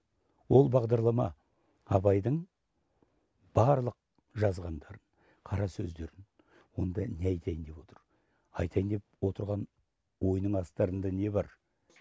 ол бағдарлама абайдың барлық жазғандарын қарасөздерін онда не айтайын деп отыр айтайын деп отырған ойының астарында не бар